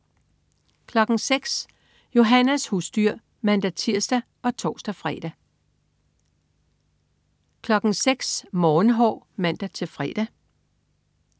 06.00 Johannas husdyr (man-tirs og tors-fre) 06.00 Morgenhår (man-fre)